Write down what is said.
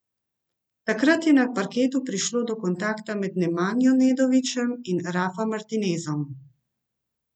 Takrat je na parketu prišlo do kontakta med Nemanjo Nedovićem in Rafa Martinezom.